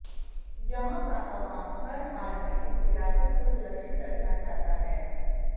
यहाँ का अवाम हर हाल में इस विरासत को सुरक्षित रखना चाहता है